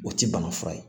O tɛ bana fura ye